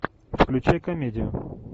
включай комедию